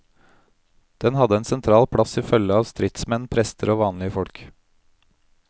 Den hadde ein sentral plass i fylgje av stridsmenn, prestar og vanlege folk.